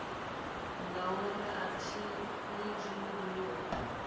ngauri a thi ḽi zwiḽiwa